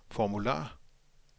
formular